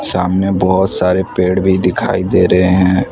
सामने बहोत सारे पेड़ भी दिखाई दे रहे हैं।